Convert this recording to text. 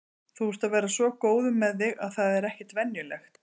Þú ert að verða svo góður með þig að það er ekkert venjulegt.